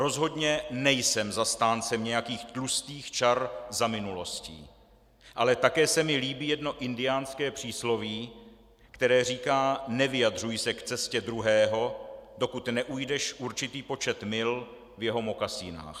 Rozhodně nejsem zastáncem nějakých tlustých čar za minulostí, ale také se mi líbí jedno indiánské přísloví, které říká: nevyjadřuj se k cestě druhého, dokud neujdeš určitý počet mil v jeho mokasínech.